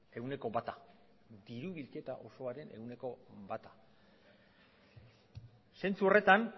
ehuneko bata diru bilketa osoaren ehuneko bata zentzu horretan